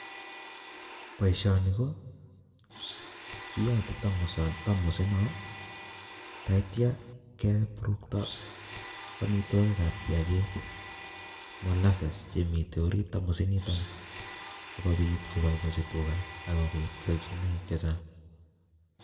Boishoni ko kiyate um tamosit noo, tatyaa, kepurukto amitwogik kab kiyagik, molasses, che mitei orit tamosit nitoni, sikobit koboibochi tuga akobit keachinoik chechang'